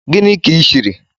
Gini ki shirk